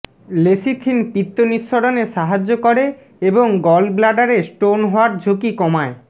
lecithin পিত্ত নিঃসরণে সাহায্য করে এবং গলব্লাডারে স্টোন হওয়ার ঝুঁকি কমায়